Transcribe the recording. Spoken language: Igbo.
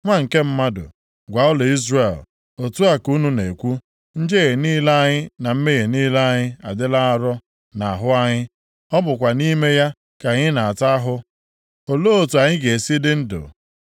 “Nwa nke mmadụ, gwa ụlọ Izrel, ‘Otu a ka unu na-ekwu, “Njehie niile anyị na mmehie niile anyị adịla arọ nʼahụ anyị. Ọ bụkwa nʼime ya ka anyị na-ata ahụ. Olee otu anyị ga-esi dị ndụ?” ’